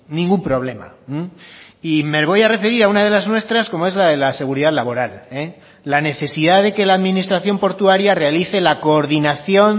ningún problema y me voy a referir a una de las nuestras como es la de la seguridad laboral la necesidad de que la administración portuaria realice la coordinación